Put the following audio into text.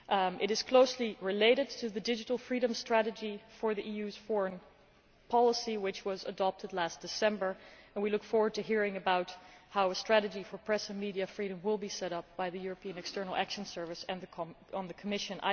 It is closely related to the digital freedom strategy for the EU's foreign policy which was adopted last December and we look forward to hearing about how a strategy for press and media freedom will be set up by the European External Action Service and the Commission.